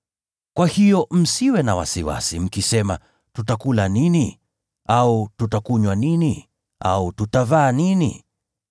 Kwa hiyo msiwe na wasiwasi, mkisema, ‘Tutakula nini?’ au ‘Tutakunywa nini?’ au ‘Tutavaa nini?’